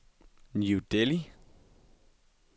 New Delhi